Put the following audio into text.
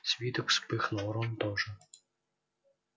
свиток вспыхнул рон тоже